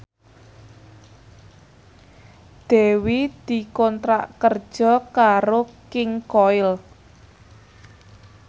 Dewi dikontrak kerja karo King Koil